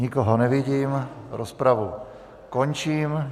Nikoho nevidím, rozpravu končím.